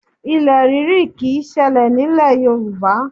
Ilẹ̀ ríri kì í ṣẹlẹ̀ nílẹ̀ Yorùbá